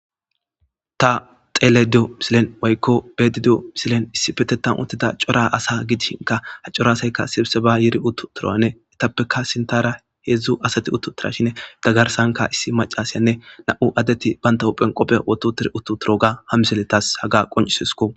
ta xele diyo misilen woykko bedidiyo misilen issi petetan uttida cora asa gidishinka ha cora asaykka sibse ba yiri uttu turoanne etappeka sintara heedzdzu asati uttu tira shine da garsanka issi macasyanne na7u addeti banta huphenqophe wotu tir uttu turo ga hamiseletas haga qoncisisko